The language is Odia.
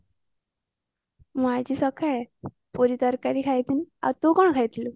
ମୁ ଆଜି ସକାଳେ ପୁରି ତରକାରୀ ଖାଇଥିଲି ଆଉ ତୁ କଣ ଖାଇଥିଲୁ